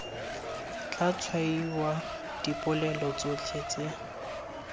tla tshwaiwa dipolelo tsotlhe tse